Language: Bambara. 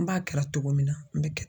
An b'a kɛra cogo min na an bɛ kɛ